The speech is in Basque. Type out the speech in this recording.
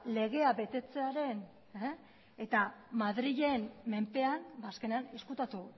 legea betetzearen eta madrilen menpean azkenean ezkutatu